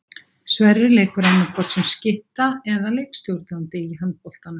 Sverrir leikur annaðhvort sem skytta eða leikstjórnandi í handboltanum.